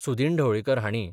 सुदीन ढवळीकर हांणी